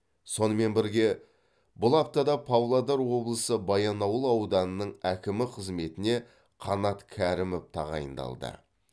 сонымен бірге бұл аптада павлодар облысы баянауыл ауданының әкімі қызметіне қанат кәрімов тағайындалды